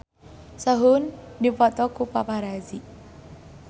Sehun dipoto ku paparazi